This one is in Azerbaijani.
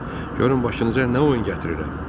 Görün başınıza nə oyun gətirirəm.